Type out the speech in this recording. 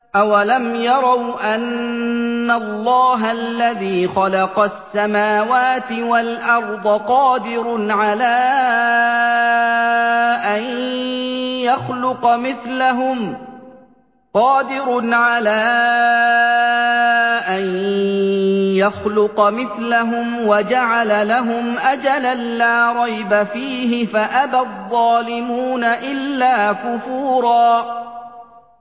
۞ أَوَلَمْ يَرَوْا أَنَّ اللَّهَ الَّذِي خَلَقَ السَّمَاوَاتِ وَالْأَرْضَ قَادِرٌ عَلَىٰ أَن يَخْلُقَ مِثْلَهُمْ وَجَعَلَ لَهُمْ أَجَلًا لَّا رَيْبَ فِيهِ فَأَبَى الظَّالِمُونَ إِلَّا كُفُورًا